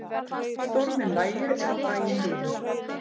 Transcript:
Storminn lægir er á daginn líður